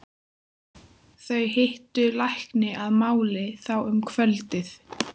Þau hittu lækninn að máli þá um kvöldið.